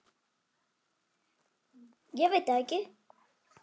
En svo er það annað.